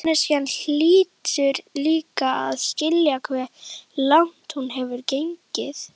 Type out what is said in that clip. Manneskjan hlýtur líka að skilja hve langt hún hefur gengið.